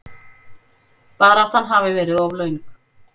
Baráttan hafi verið of löng.